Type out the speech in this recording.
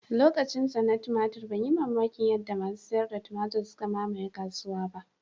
Lokacinsa na tumatur ban yi mamakin yadda masu sayar da tumatur suka mamaye kasuwa ba